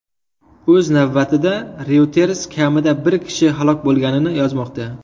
O‘z navbatida, Reuters kamida bir kishi halok bo‘lganini yozmoqda.